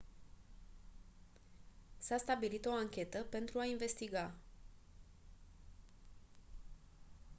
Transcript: s-a stabilit o anchetă pentru a investiga